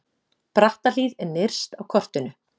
Brattahlíð er nyrst á kortinu.